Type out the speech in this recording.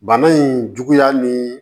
Bana in juguya ni